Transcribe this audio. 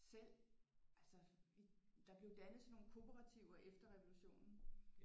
Selv altså der blev dannet sådan nogle korporativer efter revolutionen